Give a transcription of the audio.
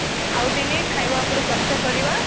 ପୁଣି ଆଉଦିନେ ଖାଇବା ଉପରେ ଚର୍ଚା କରିବା